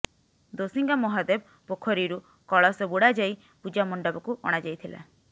ଦୋସିଙ୍ଗା ମହାଦେବ ପୋଖରୀରୁ କଳସ ବୁଡାଯାଇ ପୂଜା ମଣ୍ଡପକୁ ଅଣା ଯାଇଥିଲା